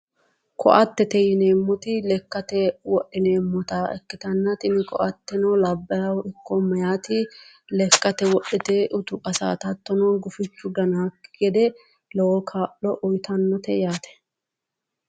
koattete yineemmoti lekkate wodhineemmota ikkitanna tini koatteno labbaahu ikko meeyati lekkate wodhite utichi qasaata woyi gufichu ganaakki gede lowo kaa'lo uyitannote yaate.